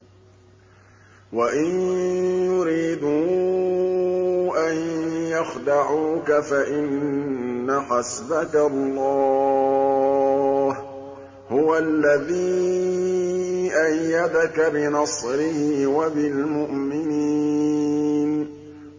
وَإِن يُرِيدُوا أَن يَخْدَعُوكَ فَإِنَّ حَسْبَكَ اللَّهُ ۚ هُوَ الَّذِي أَيَّدَكَ بِنَصْرِهِ وَبِالْمُؤْمِنِينَ